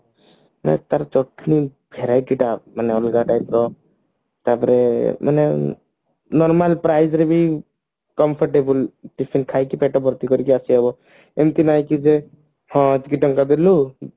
ତାର ଚଟନି verity ଟା ମାନେ ଅଲଗା type ର ତାପରେ ମାନେ normal price ରେ ବି comfortable tiffin ଖାଇକି ପେଟ ଭର୍ତି କରିକି ଆସିହେବ ଏମତି ନାଇଁ କି ଯେ ହାଁ ଏତିକି ଟଙ୍କା ଦେଲୁ